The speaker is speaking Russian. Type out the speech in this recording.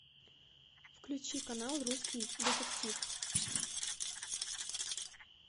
включи канал русский детектив